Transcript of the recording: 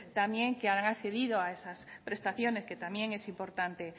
también que han accedido a esas prestaciones que también es importante